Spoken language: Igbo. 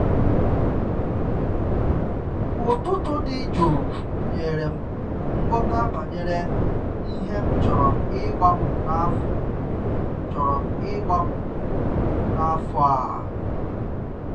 Ụtụtụ dị jụụ nyere m nghọta banyere ihe m chọrọ ịgbanwe n’afọ chọrọ ịgbanwe n’afọ a.